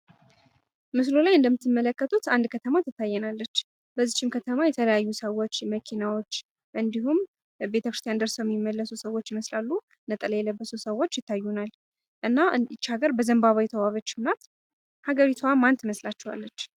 ምስሉ ላይ እንደምትመለከቱት አንድ ከተማ ትታየናለች። በዚችም ከተማ መኪናወች፣ ሰዎች ቤተክርስቲያን እየተመለሱም ይታያሉ። እና ሀገሪቷም በዘንባባ የተዋበችም ናት። እና ሀገሪቷ ማን ትመስላችኋለች?